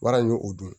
Wara y'o o dun